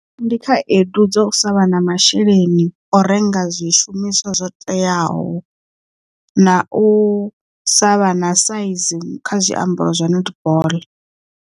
Ndi khaedu dza u sa vha na masheleni o renga zwishumiswa zwo teaho na u sa vha na saizi kha zwiambaro zwa netball.